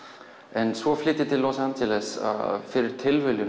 en svo flyt ég til Los Angeles fyrir tilviljun